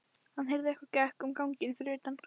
Hann heyrði að einhver gekk um ganginn fyrir utan.